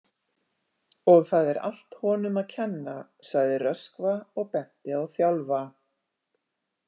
Og það er allt honum að kenna, sagði Röskva og benti á Þjálfa.